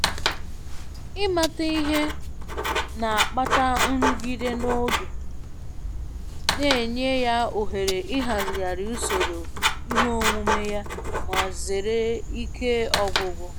Ịmata ihe na-akpata nrụgide n'oge, na-enye ya ohere ịhazigharị usoro ihe omume ya ma zere ike ọgwụgwụ.